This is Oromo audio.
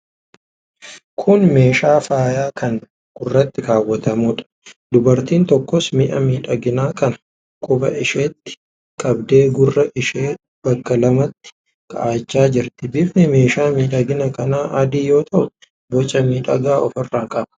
Kun meeshaa faayaa kan gurratti kaa'atamuudha. Dubartiin tokkos mi'a miidhaginaa kana quba isheetiin qabdee gurra ishee bakka lamatti kaa'achaa jirti. Bifni meeshaa miidhaginaa kanaa adii yoo ta'u, boca miidhagaa ofirraa qaba.